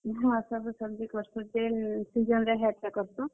ହଁ, ସବୁ सब्जी କର୍ ସୁ ଯେନ୍ season ରେ ହେଟା କର୍ ସୁଁ।